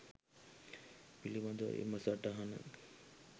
පිළිබඳවයි එම සටහන.